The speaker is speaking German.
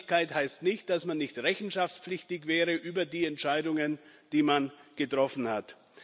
Unabhängigkeit heißt nicht, dass man nicht rechenschaftspflichtig wäre über die Entscheidungen, die man getroffen hat.